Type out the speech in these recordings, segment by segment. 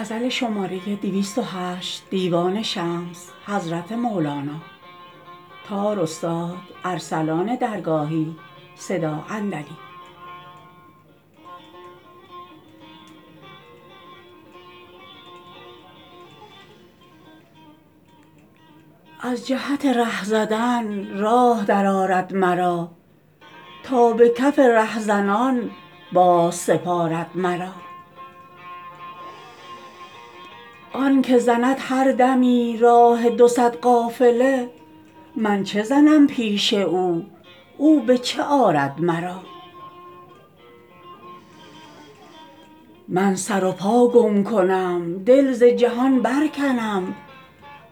از جهت ره زدن راه درآرد مرا تا به کف رهزنان بازسپارد مرا آنک زند هر دمی راه دو صد قافله من چه زنم پیش او او به چه آرد مرا من سر و پا گم کنم دل ز جهان برکنم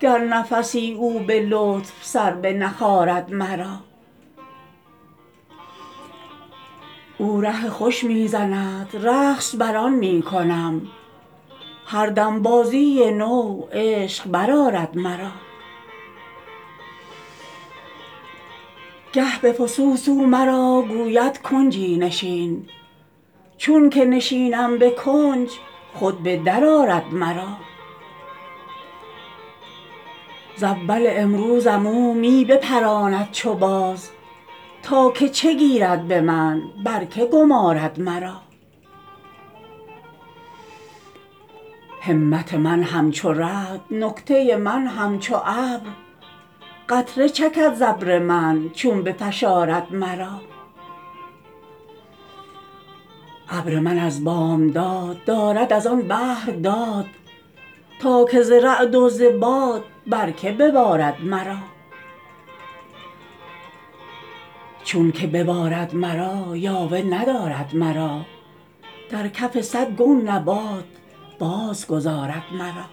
گر نفسی او به لطف سر بنخارد مرا او ره خوش می زند رقص بر آن می کنم هر دم بازی نو عشق برآرد مرا گه به فسوس او مرا گوید کنجی نشین چونک نشینم به کنج خود به درآرد مرا ز اول امروزم او می بپراند چو باز تا که چه گیرد به من بر کی گمارد مرا همت من همچو رعد نکته من همچو ابر قطره چکد ز ابر من چون بفشارد مرا ابر من از بامداد دارد از آن بحر داد تا که ز رعد و ز باد بر کی ببارد مرا چونک ببارد مرا یاوه ندارد مرا در کف صد گون نبات بازگذارد مرا